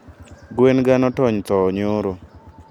Gwen ga notony thoo nyoro